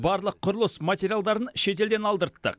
барлық құрылыс материалдарын шетелден алдырттық